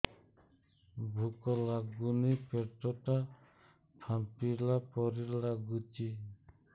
ଭୁକ ଲାଗୁନି ପେଟ ଟା ଫାମ୍ପିଲା ପରି ନାଗୁଚି